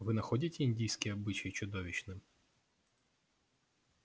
вы находите индийский обычай чудовищным